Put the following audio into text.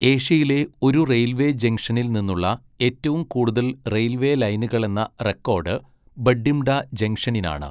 ഏഷ്യയിലെ ഒരു റെയിൽവേ ജംഗ്ഷനിൽ നിന്നുള്ള ഏറ്റവും കൂടുതൽ റെയിൽവേ ലൈനുകളെന്ന റെക്കോഡ് ബഠിംഡാ ജംഗ്ഷനിനാണ്.